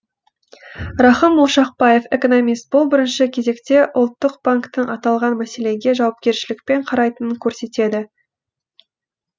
рахым ошақбаев экономист бұл бірінші кезекте ұлттық банктің аталған мәселеге жауапкершілікпен қарайтынын көрсетеді